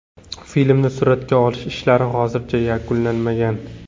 Filmni suratga olish ishlari hozircha yakunlanmagan.